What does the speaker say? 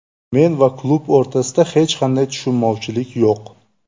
Men va klub o‘rtasida hech qanday tushunmovchilik yo‘q.